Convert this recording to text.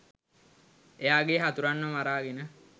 එයාගේ හතුරන්ව මරාගෙන